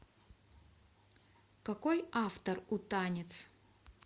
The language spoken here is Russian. какой автор у танец